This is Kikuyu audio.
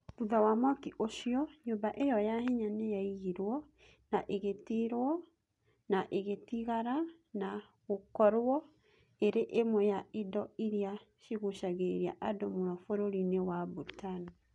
Thutha wa mwaki ũcio, nyũmba ĩyo ya hinya nĩ yaigirwo na ĩkĩgitĩrwo, na ĩgĩtigara na gũkorũo ĩrĩ ĩmwe ya indo iria cigucagĩrĩria andũ mũno bũrũri-inĩ wa Bhutan.